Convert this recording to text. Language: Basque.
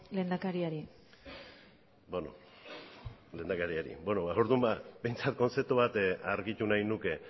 lehendakariari beno lehendakariari orduan behintzat kontzeptu bat argitu nahi nuke